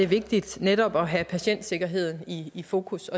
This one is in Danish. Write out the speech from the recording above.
vigtigt netop at have patientsikkerheden i fokus